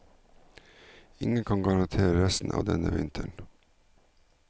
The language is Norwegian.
Ingen kan garantere resten av denne vinteren.